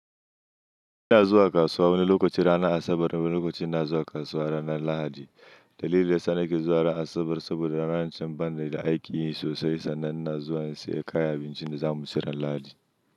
Ina zuwa kasuwa wani lokaci ranar Asabar wani lokacin na zuwa kasuwa ranar Lahadi. Dalili yasa nake zuwa ranar Asabar saboda ranar can bana da aiki sosai sannan na zuwa in saya kayan abincin da zamu ci ran Lahadi.